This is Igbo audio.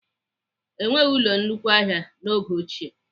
Enweghị ụlọ nnukwu ahịa n'oge ochie.